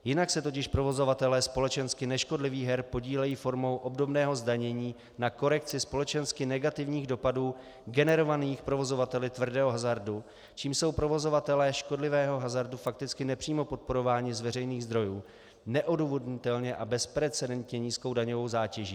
Jinak se totiž provozovatelé společensky neškodlivých her podílejí formou obdobného zdanění na korekci společensky negativních dopadů generovaných provozovateli tvrdého hazardu, čímž jsou provozovatelé škodlivého hazardu fakticky nepřímo podporováni z veřejných zdrojů neodůvodnitelně a bezprecedentně nízkou daňovou zátěží.